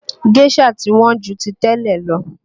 Géșà ti Wọ́n ju ti tẹ́lẹ̀ lọ